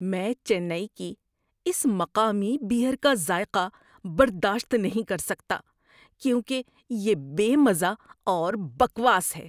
میں چنئی کی اس مقامی بیئر کا ذائقہ برداشت نہیں کر سکتا کیونکہ یہ بے مزہ اور بکواس ہے۔